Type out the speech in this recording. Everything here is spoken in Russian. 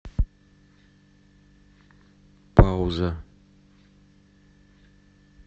пауза